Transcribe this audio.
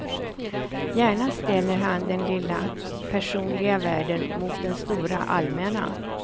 Gärna ställer han den lilla, personliga världen mot den stora allmänna.